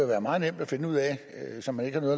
være meget nemt at finde ud af så man ikke har